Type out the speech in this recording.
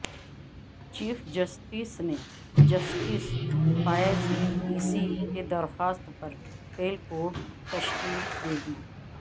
chief justice نے justice Faez Isa کی درخواست پر فل کورٹ تشکیل دیدی